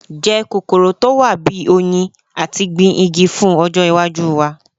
Je kokoro to wa bi “oyin” ati gbin igi fun ojo iwaju wa